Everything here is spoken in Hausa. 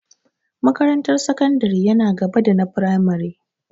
Makarantar sakandare yana gaba da na firamare.